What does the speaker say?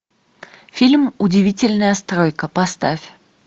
фильм удивительная стройка поставь